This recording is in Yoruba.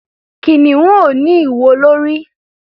Kìnìún ò ní ìwo lórí.